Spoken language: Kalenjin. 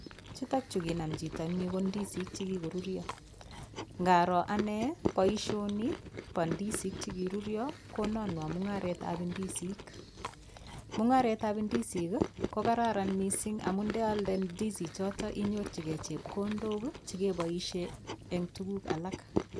Chutokchu konam chito eng' yu ko disik chikikoruryo ngaro ane boishoni bo ndisik chekirurio kononwo mung'aretab indisik mung'aretab ndisik ko kararan mising' amu ndealde ndisichoto inyorchigei chepkondok chekeboishe eng' tukuk alak